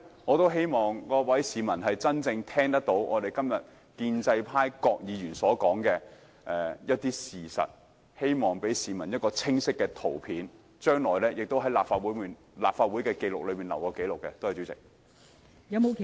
我希望各位市民真正聆聽建制派議員所說的事實，希望給市民清晰的圖像，並記錄在立法會會議紀錄上。